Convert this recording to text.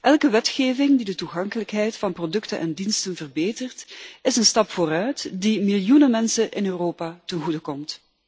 Elke wetgeving die de toegankelijkheid van producten en diensten verbetert, is een stap vooruit die miljoenen mensen in Europa ten goede komt.